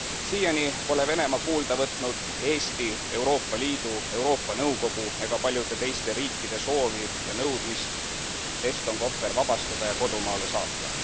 Siiani pole Venemaa kuulda võtnud Eesti, Euroopa Liidu, Euroopa Nõukogu ega paljude teiste riikide soovi ja nõudmist Eston Kohver vabastada ja kodumaale saata.